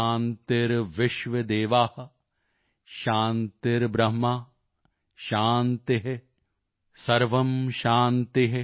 ਸ਼ਾਂਤੀਰਵਿਸ਼ਰਵੇ ਦੇਵਾ ਸ਼ਾਂਤੀਬ੍ਰਹਮ ਸ਼ਾਂਤੀ